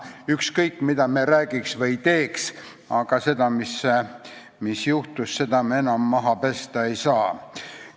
Ükskõik mida me räägiks või teeks, aga seda, mis juhtus, me enam maha pesta ei saa.